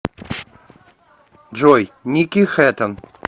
джой ники хэтон